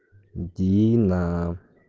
дина